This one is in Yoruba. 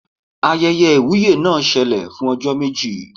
Ayẹyẹ ìwúyè náà ṣẹlẹ̀ fún ọjọ́ méjì